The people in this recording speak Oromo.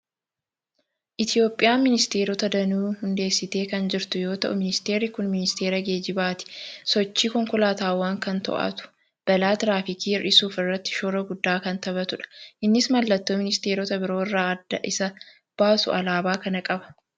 Itoophiyaan ministeerota danuu hundeessitee kan jirtu yoo ta'u, ministeerri kuni ministeera geejjibaati. Sochii konkolaataawwanii kan to'atu, balaa tiraafikii hir'isuu irratti shoora guddaa kan taphatudha. Innis mallattoo ministeerota biroo irraa adda isa baasu alaabaa kana qaba.